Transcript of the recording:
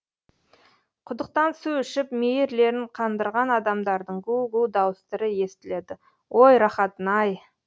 құдықтан су ішіп мейірлерін қандырған адамдардың гу гу дауыстары естіледі ой рақатын ай